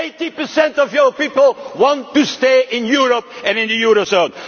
people want. Eighty percent of your people want to stay in Europe and in